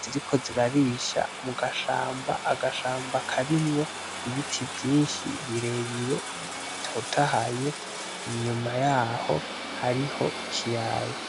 ziri ko zirarisha mu gashamba agashamba akarimwo ibiti vyinshi birebire bitotahaye inyuma yaho hariho ikiyaya.